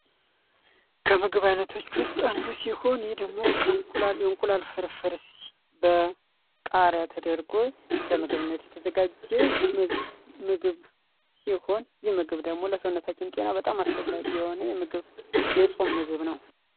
ከምግብ አይነቶች ውስጥ አንዱ ሲሆን ይህ ደግሞ የእንቁላል ፍርፍር በቃርያ ተደርጎ ለምግብነት የተዘጋጀ ምግብ ሲሆን ይህ ምግብ ደግሞ ለሰውነታችን በጣም ጠቃሚ እና አስፈላጊ የሆነ የጾም ምግብ ነው።